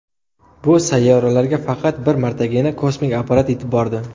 Bu sayyoralarga faqat bir martagina kosmik apparat yetib bordi.